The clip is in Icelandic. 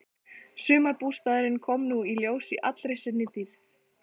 Sumarbústaðurinn kom nú í ljós í allri sinni dýrð.